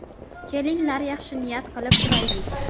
Kelinglar yaxshi niyat qilib turaylik.